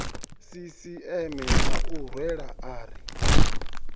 sisieme ya u rwela ari